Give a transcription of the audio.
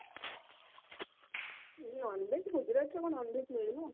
non veg Gujarat ରେ କଣ ଭଲ ଲାଗିବ ନା